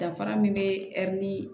Danfara min bɛ ɛri ni